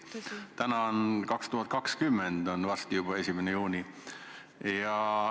Nüüd on 2020. aasta, varsti on juba 1. juuni.